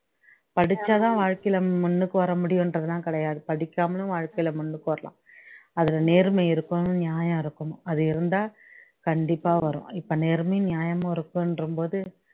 படிச்சாதான் வாழ்க்கையில முன்னுக்கு வரமுடியுன்றதெல்லம் கிடையாது படிக்கமலேயும் வாழ்க்கையில முன்னுக்கு வரலாம் அதுல நேர்மை இருக்கணும் நியாயம் இருக்கணும் அது இருந்தா கண்டிப்பா வரும் இப்ப நேர்மையும் நியாயமும் இருக்குன்றும்போது